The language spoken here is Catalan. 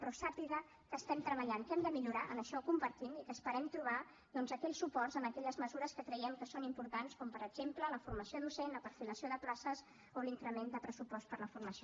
però sàpiga que hi estem treballant que hem de millorar això ho compartim i que esperem trobar doncs aquells suports en aquelles mesures que creiem que són importants com per exemple la formació docent la perfilació de places o l’increment de pressupost per a la formació